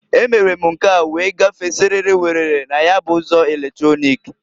E mere m nke a wee gafee siriri werere na ya bụ ụzọ eletrọnịk.